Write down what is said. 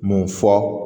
Mun fɔ